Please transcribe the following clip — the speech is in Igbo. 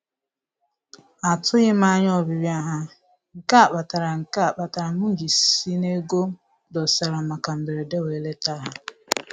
Atụghị m anya ọbịbịa ha, nke a kpatara nke a kpatara m ji si n'ego m dosara maka mberede wee leta ha